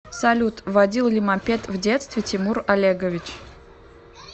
салют водил ли мопед в детстве тимур олегович